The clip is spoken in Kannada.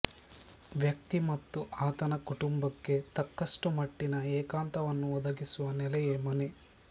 ವ್ಯಕ್ತಿ ಮತ್ತು ಆತನ ಕುಟುಂಬಕ್ಕೆ ತಕ್ಕಷ್ಟು ಮಟ್ಟಿನ ಏಕಾಂತವನ್ನು ಒದಗಿಸುವ ನೆಲೆಯೇ ಮನೆ